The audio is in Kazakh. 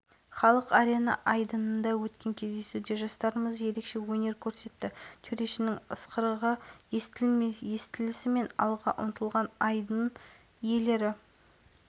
аталған байқаудың мақсаты астананың туристік символы бойынша концептуалдық дизайнерлік шешімдерді алуда жатыр байқау қорытындысы ақпанның алғашқы